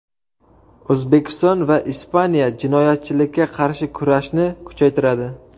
O‘zbekiston va Ispaniya jinoyatchilikka qarshi kurashni kuchaytiradi.